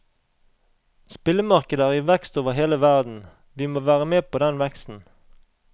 Spillemarkedet er i vekst over hele verden, vi må være med på den veksten.